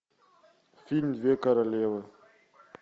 фильм две королевы